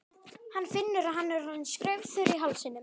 Hann finnur að hann er orðinn skraufþurr í hálsinum.